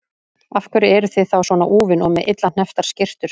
Af hverju eruð þið þá svona úfin og með illa hnepptar skyrtur?